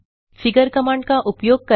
figure command का उपयोग करना